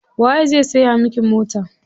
Waye zai siya miki mota?